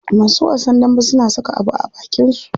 Masu wasan dambe suna saka abu a abakin su.